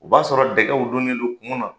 O b'a sɔrɔ dɛgɛw donnen don kun na.